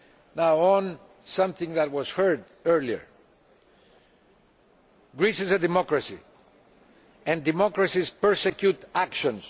Concerning something that we heard earlier, Greece is a democracy, and democracies persecute actions.